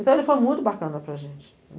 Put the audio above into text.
Então ele foi muito bacana para a gente.